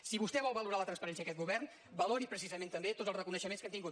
si vostè vol valorar la transparència d’aquest govern valori precisament també tots els reconeixements que hem tingut